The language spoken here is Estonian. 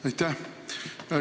Aitäh!